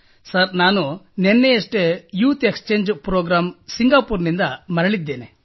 sir ನಾನು ನಿನ್ನೆಯಷ್ಟೇ youth exchange programme ಸಿಂಗಾಪೂರ್ನಿಂದ ಮರಳಿದ್ದೇನೆ